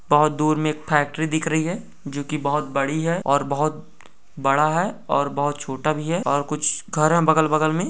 बोहोत दूर में एक फैक्ट्री दिख रही है जो के बोहोत बड़ी है और बोहोत बड़ा है और बोहत छोटा भी और कुछ घर हैं बगल बगल में ।